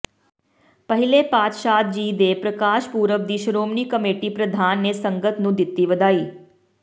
ਪਹਿਲੇ ਪਾਤਸ਼ਾਹ ਜੀ ਦੇ ਪ੍ਰਕਾਸ਼ ਪੁਰਬ ਦੀ ਸ਼੍ਰੋਮਣੀ ਕਮੇਟੀ ਪ੍ਰਧਾਨ ਨੇ ਸੰਗਤ ਨੂੰ ਦਿੱਤੀ ਵਧਾਈ